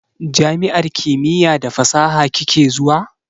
Jami'ar kimiya da fasaha kike zuwa?